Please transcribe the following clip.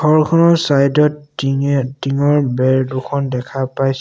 ঘৰখনৰ চাইড ত টিঙে টিংৰ বেৰ দুখন দেখা পাই--